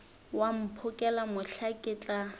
wa mphokela mohla ke tla